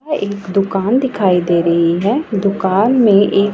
एक दुकान दिखाई दे रही है दुकान में एक--